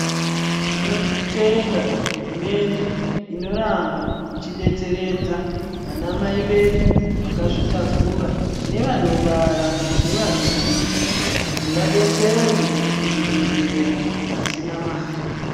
Tinotenda hurumende inoramba ichidetseredza vanamai vedu vakazvitakura nevanobara nevanoyamwisa kuti vadetserwe muzvibhedhlera vasina mari.